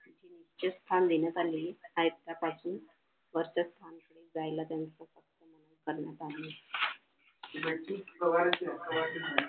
उच्च स्थान देण्यात आले खालच्या पासून वरच्या स्थानाकडे जायला त्यांच्या करण्यात आले